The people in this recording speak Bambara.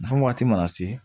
Nafa waati mana se